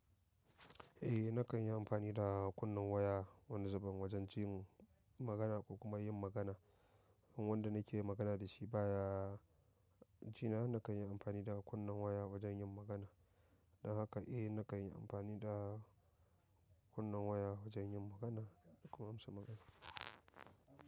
Eh nakan yi amfani da kunnen waya wani zuben wajen jin magana ko kuma yin magana. Wanda nake magana da shi baya jina nakan yi amfani da kunnen waya wajen yin magana. Don haka eh nakan yi amfani da kunnen waya wajen yin magana da kuma amsa magana.